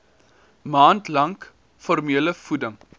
maand lank formulevoeding